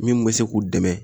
Min be se k'u dɛmɛ